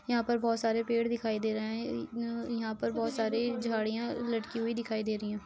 यहाँं पर बहोत सारे पेड़ दिखाई दे रहे हैं। उं उं यहाँं पर बहोत सारी झाड़ियां लटकी हुई दिखाई दे रही हैं।